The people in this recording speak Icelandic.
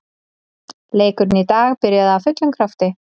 Leikurinn í dag byrjaði af fullum krafti.